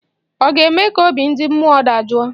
Ọ ga-eme ka obi ndị mmụọ dajụọ?